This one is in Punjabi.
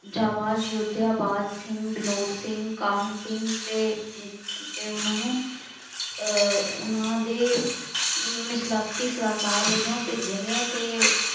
ਜਾਬਾਜ਼ ਯੋਧਿਆਂ ਬਾਜ਼ ਸਿੰਘ, ਵਿਨੋਦ ਸਿੰਘ, ਕਾਹਨ ਸਿੰਘ ਅਤੇ ਉਹਨਾ ਨੂੰ ਅਹ ਉਹਨਾ ਦੇ ਮਿਸਲਾਤੀ ਸਲਾਹਕਾਰ ਵਜੋਂ ਭੇਜਿਆ ਗਿਆ ਅਤੇ